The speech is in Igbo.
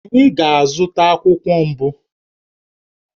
Anyị ga-azụta akwụkwọ mbụ